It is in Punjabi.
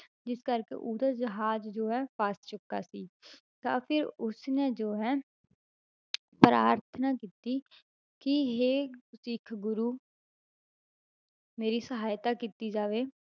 ਜਿਸ ਕਰਕੇ ਉਹਦਾ ਜਹਾਜ਼ ਜੋ ਹੈ ਫ਼ਸ ਚੁੱਕਾ ਸੀ ਤਾਂ ਫਿਰ ਉਸ ਨੇ ਜੋ ਹੈ ਪ੍ਰਾਰਥਨਾ ਕੀਤੀ ਕਿ ਹੇ ਸਿੱਖ ਗੁਰੂ ਮੇਰੀ ਸਹਾਇਤਾ ਕੀਤੀ ਜਾਵੇ,